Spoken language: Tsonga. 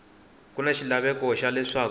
ku na xilaveko xa leswaku